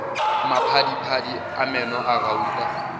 maphadiphadi a meno a gauta